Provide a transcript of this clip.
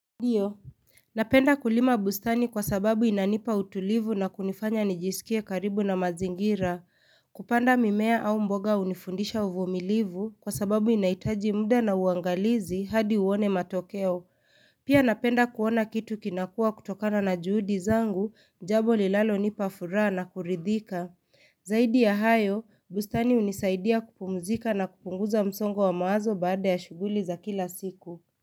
Ndio, napenda kulima bustani kwa sababu inanipa utulivu na kunifanya nijisikie karibu na mazingira. Kupanda mimea au mboga hunifundisha uvumilivu kwa sababu inahitaji muda na uangalizi hadi uone matokeo. Pia napenda kuona kitu kinakua kutokana na juhudi zangu, jambo linalo nipa furaha na kuridhika. Zaidi ya hayo, bustani hunisaidia kupumzika na kupunguza msongo wa maazo baada ya shuguli za kila siku.